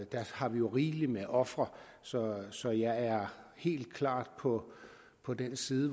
der har vi jo rigeligt med ofre så så jeg er helt klart på på den side